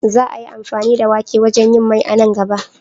Za a yi amfani da wake wajen yin Mai a nan gaba.